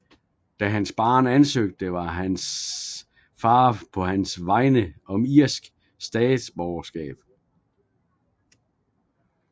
Da han var barn ansøgte hans far på hans vegne om irsk statsborgerskab